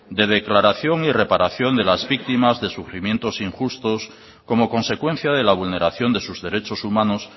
de declaración y reparación de las víctimas de sufrimientos injustos como consecuencia de la vulneración de sus derechos humanos